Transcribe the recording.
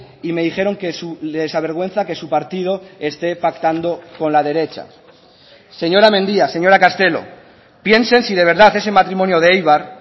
y me dijeron que les avergüenza que su partido este pactando con la derecha señora mendia señora castelo piensen si de verdad ese matrimonio de eibar